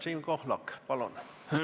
Siim Pohlak, palun!